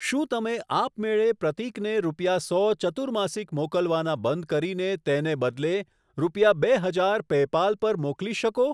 શું તમે આપમેળે પ્રતીકને રૂપિયા સો ચતુર્માસિક મોકલવાના બંધ કરીને તેને બદલે, રૂપિયા બે હજાર પેપાલ પર મોકલી શકો?